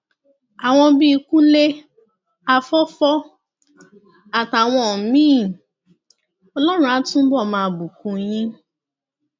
àwọn bíi kúnlé afọfọ àtàwọn míín ọlọrun á túbọ máa bùkún yín